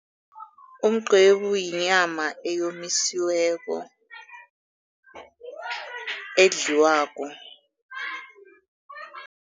Umqwebu yinyama eyomisiweko, edliwako.